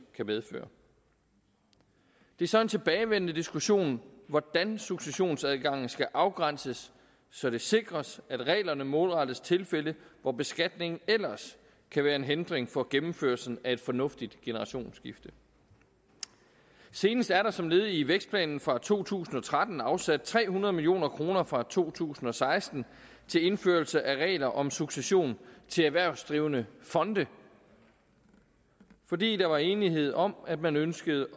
kan medføre det er så en tilbagevendende diskussion hvordan successionsadgangen skal afgrænses så det sikres at reglerne målrettes tilfælde hvor beskatningen ellers kan være en hindring for gennemførelsen af et fornuftigt generationsskifte senest er der som led i vækstplanen fra to tusind og tretten afsat tre hundrede million kroner fra to tusind og seksten til indførelse af regler om succession til erhvervsdrivende fonde fordi der var enighed om at man ønskede